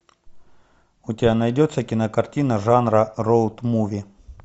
у тебя найдется кинокартина жанра роуд муви